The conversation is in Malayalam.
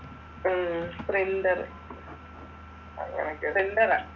ഉം പ്രിൻറ്റർ പ്രിൻറ്ററാ